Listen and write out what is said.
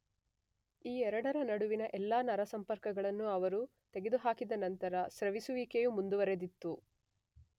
ಈ ಎರಡರ ನಡುವಿನ ಎಲ್ಲಾ ನರಸಂಪರ್ಕಗಳನ್ನು ಅವರು ತೆಗೆದುಹಾಕಿದ ನಂತರವು ಸ್ರವಿಸುವಿಕೆಯು ಮುಂದುವರೆದಿತ್ತು.